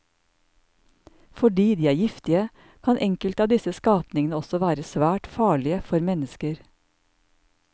Fordi de er giftige, kan enkelte av disse skapningene også være svært farlige for mennesker.